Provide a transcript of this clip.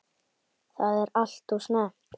Þetta er alltof snemmt.